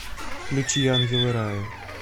включи ангелы рая